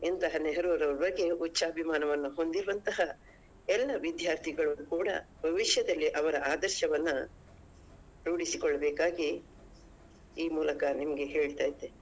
ಇಂತಹ ನೆಹರುರವರ ಬಗ್ಗೆ ಉಚ್ಚಾಭಿಮಾನವನ್ನು ಹೊಂದಿರುವಂತಹ ಎಲ್ಲ ವಿದ್ಯಾರ್ಥಿಗಳು ಕೂಡಾ ಭವಿಷ್ಯದಲ್ಲಿ ಅವರ ಆದರ್ಶವನ್ನ ರೂಡಿಸ್ಕೊಳ್ಬೇಕಾಗಿ ಈ ಮೂಲಕ ನಿಮ್ಗೆ ಹೇಳ್ತಾ ಇದ್ದೇನೆ.